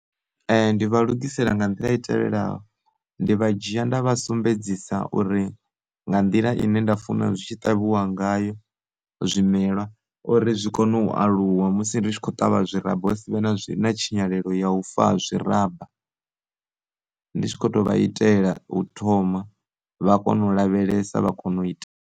Ndi vha lugisela nga nḓila i tevhelaho, ndi vha dzhia nda vha sumbedzisa uri nga nḓila ine nda funa zwi tshi ṱavhiwa ngayo zwimelwa uri zwi kone u u aluwa musi ndi tshi khou ṱavha zwi ramba wa si vhe na tshinyalelo ya ufa ha zwi ramba ndi tshi kho to vha itela u thoma vha kono u lavhelesa vha kono u ita.